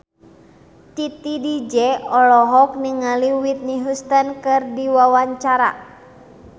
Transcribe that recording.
Titi DJ olohok ningali Whitney Houston keur diwawancara